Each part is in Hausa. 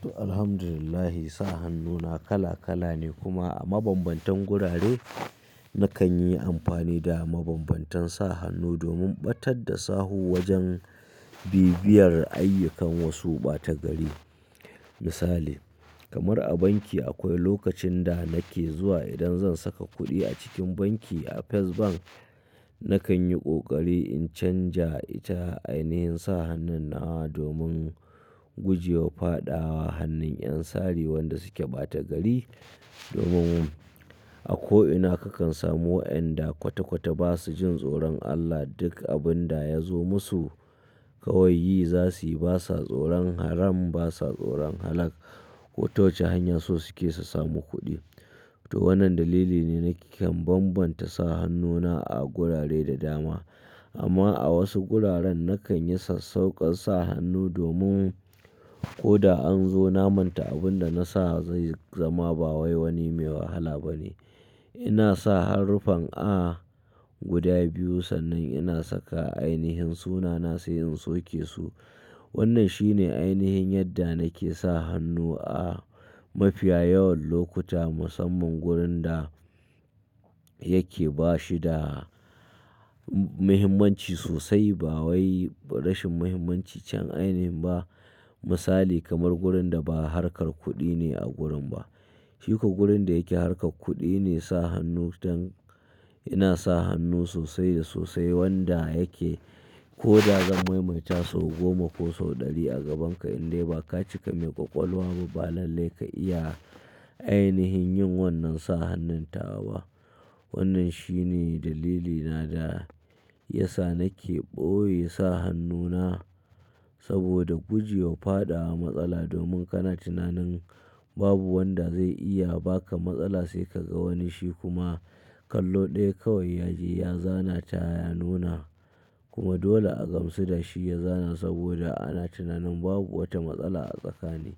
To, Alhamdulillah sa hannu na kala kala ne kuma a mabambantan gurare nakan yi amfani da mabambantan sa hannu domin ɓatar da sahu wajen bibiyar ayyukan wasu ɓata gari. Misali kamar a banki akwai lokacin da nake zuwa idan zan saka kuɗi a cikin banki a First Bank, nakan yi ƙoƙari in canja ita ainihin sa hannun na domin guje wa faɗawa hannun ƴan sari wanda su ke ɓata gari domin a ko'ina kakan samu waƴanda kwata kwata ba su jin tsoron Allah duk abun da ya zo musu, kawai yi za su yi ba sa tsoron haram, ba sa tsoron halal. Kota wace hanya so suke su samu kuɗi. To wannan dalili ne nake kan bambanta sa hannuna a gurare da dama. Amma a wasu guraren nakan yi sassauƙar sa hannu domin ko da an zo na manta abun da na sa zai zama ba wai wani mai wahala ba ne. Ina sa haruffan A guda biyu sannan ina saka ainihin sunana sai in soke su. Wannan shine ainihin yadda nake sa hannu a mafiya yawan lokuta musamman wurin da yake ba shi da muhimmanci sosai ba wai rashin muhimmanci can ainihi ba. Misali kamar wurin da ba harkar kuɗi ne a gurin ba. Shikwa gurin da yake harkar kuɗi ne sa hannu don ina sa hannu sosai da sosai wanda yake ko da zan maimaita sau goma ko sau ɗari a gabanka in dai ba ka cika mai ƙwaƙwalwa ba, ba lallai ka iya ainihin yin wannan sa hannun tawa ba. Wannan shine dalilina da ya sa nake ɓoye sa hannuna saboda guje wa faɗawa matsala domin kana tunanin babu wanda zai iya baka matsala sai ka ga wani shi kuma kallo ɗaya kawai ya je ya zana ta ya nuna kuma dole a gamsu da shi ya zana saboda ana tunanin babu wata matsala a tsakani.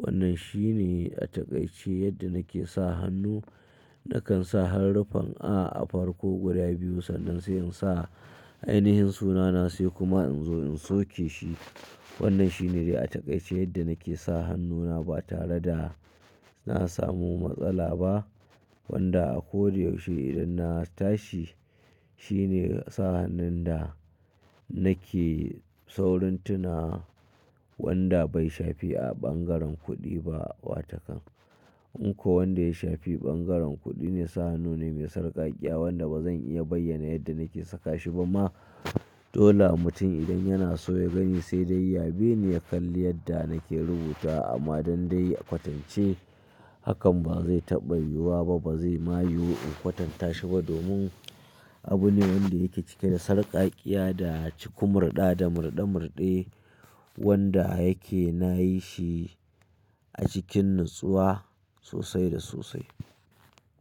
Wannan shine a takaice yadda nake sa hannu. Nakan sa haruffan A a farko guda biyu sannan sai in sa ainihin sunana sai kuma in zo in soke shi. Wannan shine dai a takaice yadda nake sa hannuna ba tare da na samu matsala ba wanda a ko da yaushe idan na tashi shine sa hannun da nake saurin tuna wanda bai shafi a ɓangaren kuɗi ba watakan. In ko wanda ya shafi ɓangaren kuɗi ne sa hannu ne mai sarƙaƙƙiya wanda bazan iya bayyana yadda nake saka shi ba ma. Dole mutum idan yana so ya gani sai dai ya bi ni ya kalli yadda nake rubutawa amma dan dai a kwatance hakan ba zai taɓa yiwuwa ba, ba zai ma yiwu in kwatanta shi ba domin abu ne wanda yake cike da sarƙaƙƙiya da ciku murɗa da murɗe murɗe wanda yake na yi shi a cikin natsuwa sosai da sosai.